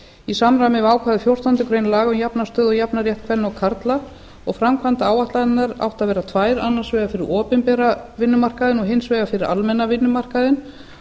í samræmi við ákvæði fjórtándu grein laga um jafna stöðu og jafnan rétt kvenna og karla framkvæmdaáætlanirnar áttu að vera tvær annars vegar fyrir opinbera vinnumarkaðinn og hins vegar fyrir almenna vinnumarkaðinn